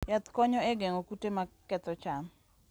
Yath konyo e geng'o kute maketho cham.